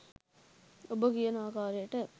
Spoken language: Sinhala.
ඔබ කියන ආකාරයට